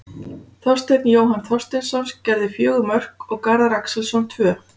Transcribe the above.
Þorsteinn Jóhann Þorsteinsson gerði fjögur mörk og Garðar Axelsson tvö.